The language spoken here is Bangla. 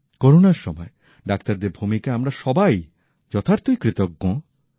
করোনার সময় ডাক্তারদের ভূমিকায় আমরা সবাই যথার্থই কৃতজ্ঞ